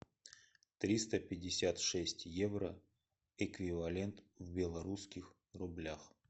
триста пятьдесят шесть евро эквивалент в белорусских рублях